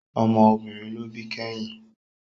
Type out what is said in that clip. Ọmọ obìnrin ló bí kẹ́yìn